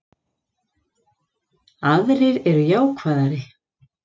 Aðrir eru jákvæðari